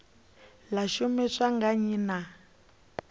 ḽa shumiswa nga nnyi na